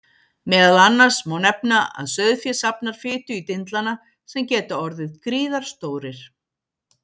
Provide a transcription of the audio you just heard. Meðal annars má nefna að sauðfé safnar fitu í dindlana sem geta orðið gríðarstórir.